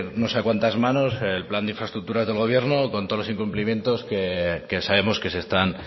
no sé a cuantas manos el plan de infraestructuras del gobierno con todos los incumplimientos que sabemos que se están